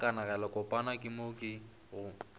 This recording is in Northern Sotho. a kanegelokopana ke mo go